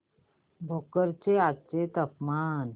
भोकर चे आजचे तापमान